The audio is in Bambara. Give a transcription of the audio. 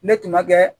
Ne tun ma kɛ